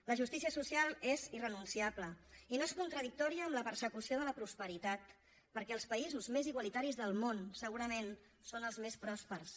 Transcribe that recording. la justícia social és irrenunciable i no és contradictòria amb la persecució de la prosperitat perquè els països més igualitaris del món segurament són els més pròspers